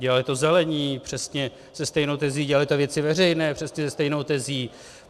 Dělali to Zelení přesně se stejnou tezí, dělali to Věci veřejné přesně se stejnou tezí.